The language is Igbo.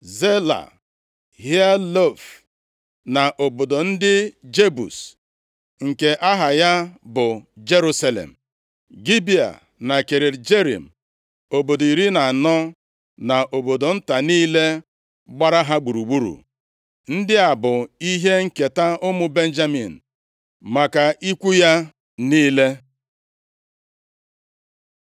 Zela, Haelef na obodo ndị Jebus, nke aha ya bụ Jerusalem, Gibea na Kiriat Jearim, obodo iri na anọ na obodo nta niile gbara ha gburugburu. Ndị a bụ ihe nketa ụmụ Benjamin maka ikwu ya niile.